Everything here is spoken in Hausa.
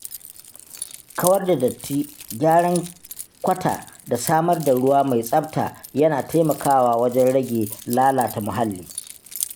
Kawar da datti, gyaran kwata da samar da ruwa mai tsafta yana taimakawa wajen rage lalata muhalli.